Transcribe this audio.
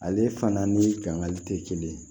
Ale fana ni gankari tɛ kelen ye